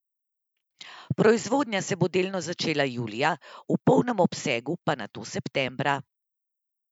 Proizvodnja se bo delno začela julija, v polnem obsegu pa nato septembra.